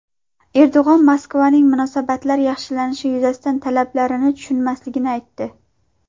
Erdo‘g‘on Moskvaning munosabatlar yaxshilanishi yuzasidan talablarini tushunmasligini aytdi.